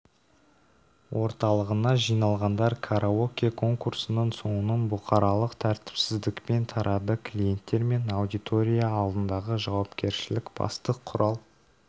орталығына жиналғандар караоке конкурсының соңын бұқаралық тәртіпсіздікпен тарады клиенттер мен аудитория алдындағы жауапкершілік басты құрал